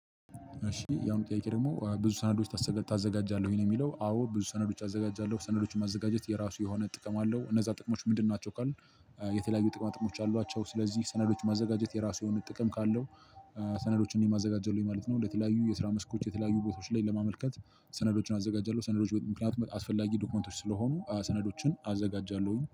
እሺ ያሁኑ ጥያቄ ደግሞ ብዙ ሰነዶች ታዘጋጃለህ ወይ ነው? የሚለው አዎ ብዙ ሰነዶች አዘጋጃለሁ ሰነዶችን ማዘጋጀት የራሱ የሆነ ጥቅም አለው። እነዛ ጥቅሞች ምንድን ናቸው ካልን? የተለያዩ ጥቅማ ጥቅሞች አሏቸው። ሰለዚህ ሰነዶችን ማዘጋጀት የራሱ የሆነ ጥቅም ካለው። ሰነዶችን እኔም አዘጋጃለው ማለት ነው። ለተለያዩ የስራ መስኮች የተለያዩ ቦታዎች ላይ ለማመልከት ሰነዶችን አዘጋጃለሁ። ሰነዶች ምክንያቱም አስፈላጊ ዶክመንቶች ስለሆኑ ሰነዶችን አዘጋጃለሁኝ